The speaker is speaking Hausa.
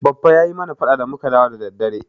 Baffa ya yi mana faɗa da muka dawo da daddare.